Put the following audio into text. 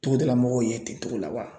Togodala mɔgɔw ye ten togo la wa